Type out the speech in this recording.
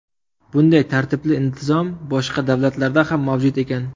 Bunday tartib-intizom boshqa davlatlarda ham mavjud ekan.